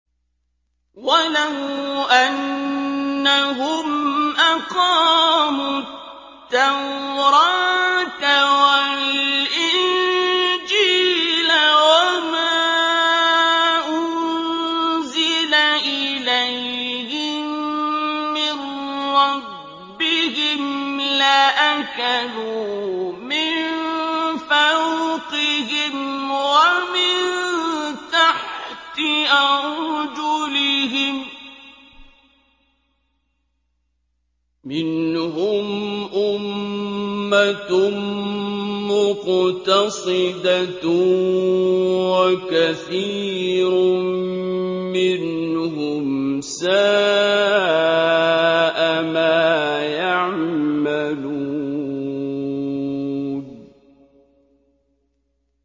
وَلَوْ أَنَّهُمْ أَقَامُوا التَّوْرَاةَ وَالْإِنجِيلَ وَمَا أُنزِلَ إِلَيْهِم مِّن رَّبِّهِمْ لَأَكَلُوا مِن فَوْقِهِمْ وَمِن تَحْتِ أَرْجُلِهِم ۚ مِّنْهُمْ أُمَّةٌ مُّقْتَصِدَةٌ ۖ وَكَثِيرٌ مِّنْهُمْ سَاءَ مَا يَعْمَلُونَ